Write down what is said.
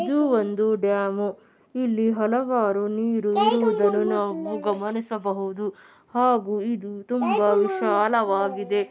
ಇದು ಒಂದು ಡ್ಯಾಮ್ . ಇಲ್ಲಿ ಹಲವಾರು ನೀರು ಇರುವುದನ್ನು ನಾವು ಗಮನಿಸಬಹುದು. ಹಾಗು ಇದು ತುಂಬಾ ವಿಶಾಲವಾಗಿದೆ .